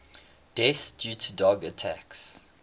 deaths due to dog attacks